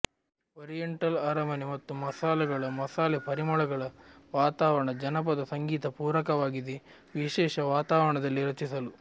oriental ಅರಮನೆ ಮತ್ತು ಮಸಾಲೆಗಳ ಮಸಾಲೆ ಪರಿಮಳಗಳ ವಾತಾವರಣ ಜಾನಪದ ಸಂಗೀತ ಪೂರಕವಾಗಿದೆ ವಿಶೇಷ ವಾತಾವರಣದಲ್ಲಿ ರಚಿಸಲು